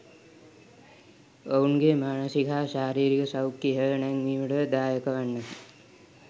ඔවුන්ගේ මානසික හා ශාරීරික සෞඛ්‍යය ඉහළ නැංවීමටද දායකවන්නකි.